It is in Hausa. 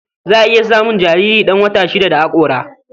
Za a iya samun jariri ɗan wata shida da haƙora.